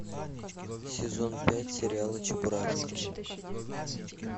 сезон пять сериала чебурашка